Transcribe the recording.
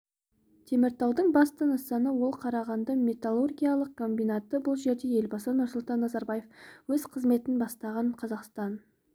теміртаудың басты нысаны ол қарағанды металлургиялық комбинаты бұл жерде елбасы нұрсұлтан назарбаев өз қызметін бастаған қазақстан